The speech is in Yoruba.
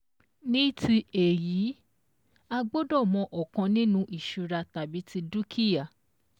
Ní ti èyí, àgbọ́dọ mọ ọ̀kan ninu ìṣura tàbí ti dúkìá